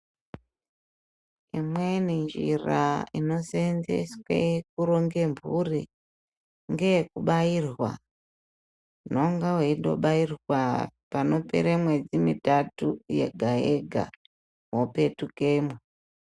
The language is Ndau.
Imweni njira inoseenzeswe kuronge mphuri ,ngeyekubairwa. Unonga weitobairwa panopere mwedzi mitatu yega-yega ,wopetukemwo.